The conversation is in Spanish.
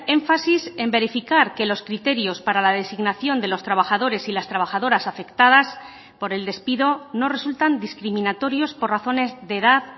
énfasis en verificar que los criterios para la designación de los trabajadores y las trabajadoras afectadas por el despido no resultan discriminatorios por razones de edad